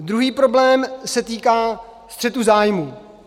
Druhý problém se týká střetu zájmů.